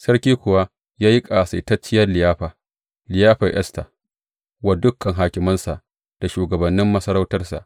Sarki kuwa ya yi ƙasaitacciyar liyafa, liyafar Esta, wa dukan hakimansa da shugabannin masarautarsa.